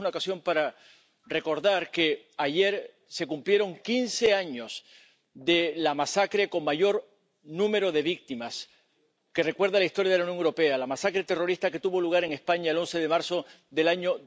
Y creo que es una ocasión para recordar que ayer se cumplieron quince años de la masacre con mayor número de víctimas que recuerda la historia de la Unión Europea la masacre terrorista que tuvo lugar en España el 11 de marzo del año